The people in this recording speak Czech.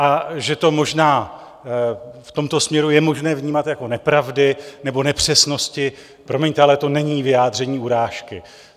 A že to možná v tomto směru je možné vnímat jako nepravdy nebo nepřesnosti, promiňte, ale to není vyjádření urážky.